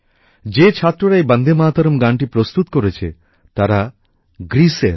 যে ছাত্ররা এই বন্দেমাতরম গানটি প্রস্তুত করেছে তারা গ্রিসের